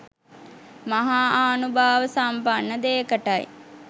මහා ආනුභාව සම්පන්න දේකටයි